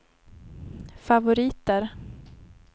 favoriter